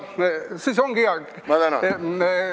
Siis ongi hea.